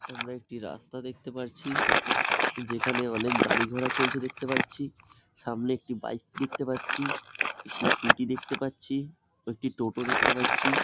সামনে একটা রাস্তা দেখতে পারছি। যেখানে অনেক গাড়ি ঘোড়া চলছে দেখতে পারছি। সামনে একটি বাইক দেখতে পারছি। একটি স্কুটি দেখতে পারছি ও একটি টোটো দেখতে পারছি।